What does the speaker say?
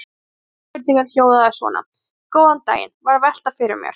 Upprunalega spurningin hljóðaði svona: Góðan daginn- var að velta fyrir mér.